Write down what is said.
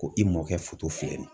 Ko i mɔkɛ filɛ.